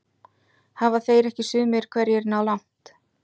Hafa þeir ekki sumir hverjir náð langt?